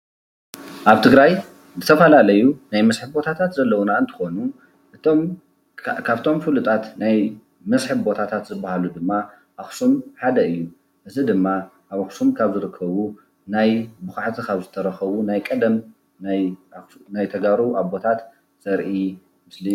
ኣብ ትግራይ ዝተፈላለዩ ናይ መስርሒ ቦታታት ዘለዉና እንትኾኑ እቶም ፍሉጣት ናይ መስርሒ ቦታታት ዝበሃሉ ድማ ኣኽሱም ሓደ እዩ፡፡ እዚ ድማ ኣብ ኣኽሱም ካብ ዝርከቡ ናይ ብዃዕቲ ናይ ዝተረኸቡ ናይ ቀደም ናይ ተጋሩ ኣቦታት ዘርኢ ምስሊ እዩ፡፡